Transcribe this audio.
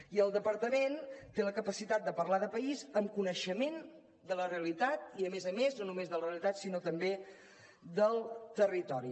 i el departament té la capacitat de parlar de país amb coneixement de la realitat i a més a més no només de la realitat sinó també del territori